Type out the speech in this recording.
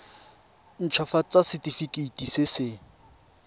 nt hafatsa setefikeiti se se